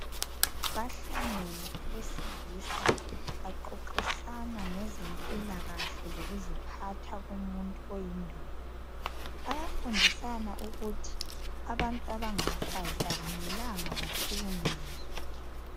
Bahlangene abesilisa. Baxoxisana ngezempilakahle lokuziphatha komuntu oyindoda. Bayafundisana ukuthi abantu abangabafazi akumelanga bahlakunyezwe.